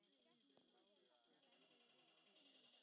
Til hvers var hann að fá mig?